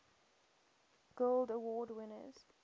guild award winners